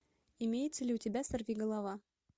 имеется ли у тебя сорви голова